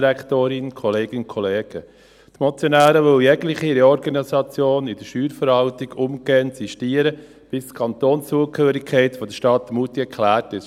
Die Motionäre wollen jegliche Reorganisation in der Steuerverwaltung umgehend sistieren, bis die Kantonszugehörigkeit der Stadt Moutier geklärt ist.